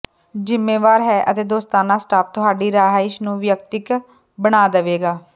ਜਿੰਮੇਵਾਰ ਹੈ ਅਤੇ ਦੋਸਤਾਨਾ ਸਟਾਫ ਤੁਹਾਡੀ ਰਿਹਾਇਸ਼ ਨੂੰ ਿਵਅਕਤਕ ਬਣਾ ਦੇਵੇਗਾ